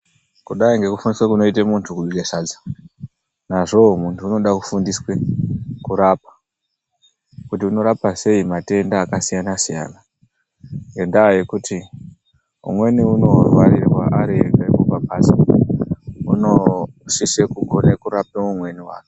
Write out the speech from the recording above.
Kudai ngekukwanise kunoite muntu kubike sadza nazvoo muntu unode kufundiswe kurapa. Kuti unorapa sei matenda akasiyana-siyana, ngendaa yekuti umweni unorwarirwa ariega pamhatso unosise kukorera kurapa umweni vake.